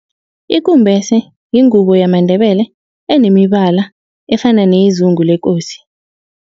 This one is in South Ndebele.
Ikumbese yingubo yamaNdebele enemibala efana neyezungu lekosi.